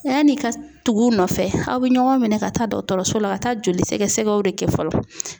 Yanni ka tugu u nɔfɛ aw bɛ ɲɔgɔn minɛ ka taa dɔgɔtɔrɔso la ka taa joli sɛgɛsɛgɛw de kɛ fɔlɔ.